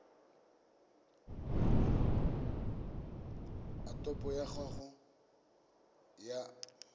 a topo ya gago ya